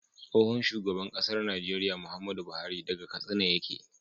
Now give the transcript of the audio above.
Tsohon shugaban ƙasar Nigeria Muhammadu buhari saga katsina yake